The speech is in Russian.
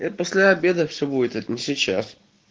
после обеда все будет это не сейчас